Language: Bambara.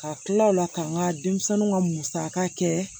Ka tila o la ka n ka denmisɛnnu ka musaka kɛ